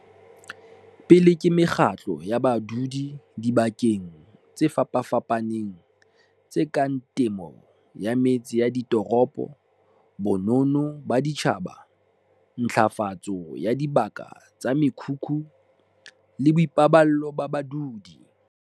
pele ke mekgatlo ya badudi dibakeng tse fapafapaneng tse kang temo ya metse ya ditoropo, bonono ba setjhaba, ntlafatso ya dibaka tsa mekhukhu le boipaballo ba badudi.